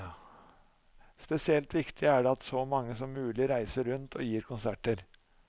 Spesielt viktig er det at så mange som mulig reiser rundt og gir konserter.